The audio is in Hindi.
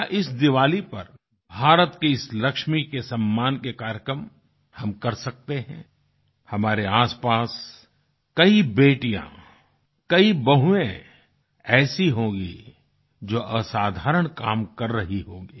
क्या इस दिवाली पर भारत की इस लक्ष्मी के सम्मान के कार्यक्रम हम कर सकते हैं हमारे आसपास कई बेटियाँ कई बहुएँ ऐसी होंगी जो असाधारण काम कर रही होंगी